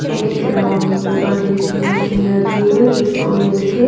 एक ग्राउंड में बड़ी सी मशीन रखी हुई है जिसको मिल के--